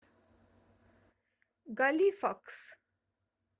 галифакс